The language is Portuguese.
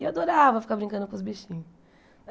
E eu adorava ficar brincando com os bichinhos.